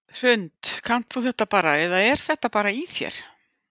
Hrund: Kannt þú þetta bara eða er þetta bara í þér?